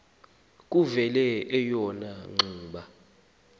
kuvele eyona ngxuba